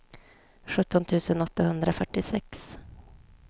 sjutton tusen åttahundrafyrtiosex